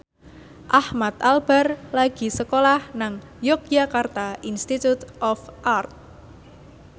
Ahmad Albar lagi sekolah nang Yogyakarta Institute of Art